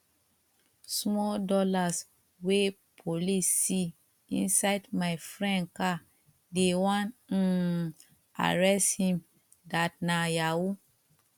small dollars wey police see inside my friend car they wan um arrest him that nah yahoo